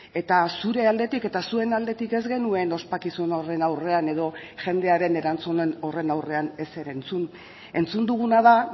eta zure aldetik eta zuen aldetik ez genuen ospakizun horren aurrean edo jendearen erantzunen horren aurrean ezer entzun entzun duguna da